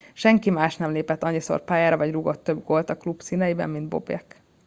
senki más nem lépett annyiszor pályára vagy rúgott több gólt a klub színeiben mint bobek